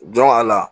a la